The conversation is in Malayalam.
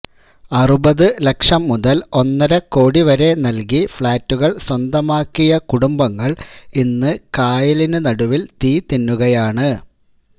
അറുപത് ലക്ഷം മുതല് ഒന്നരക്കോടിവരെ നല്കി ഫ്ളാറ്റുകള് സ്വന്തമാക്കിയ കുടുംബങ്ങള് ഇന്ന് കായലിന് നടുവില് തീ തിന്നുകയാണ്